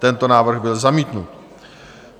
Tento návrh byl zamítnut.